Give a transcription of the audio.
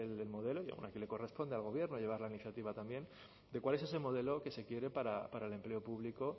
el modelo y que le corresponde al gobierno llevar la iniciativa también de cuál es ese modelo que se quiere para el empleo público